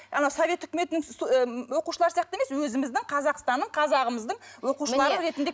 анау совет үкіметінің оқушылары сияқты емес өзіміздің қазақстанның қазағымыздың оқушылары ретінде